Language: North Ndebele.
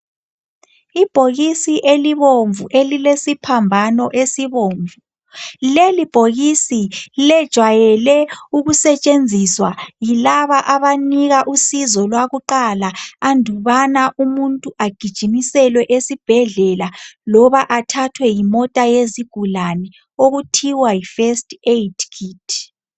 Ibhokisi elibomvu elilesiphambano esibomvu, leli bhokisi lejwayele ukusetshenziswa yilaba abanika usizo lwakuqala andubana umuntu agijimiselwe esibhedlela loba athathwe yimota yezigulane, okuthiwa yi first aid kit.